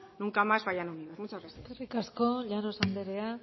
nunca más vayan unidos muchas gracias eskerrik asko llanos anderea